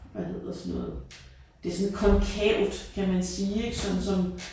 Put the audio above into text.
Hvad hedder sådan noget det sådan konkavt kan man sige ik sådan som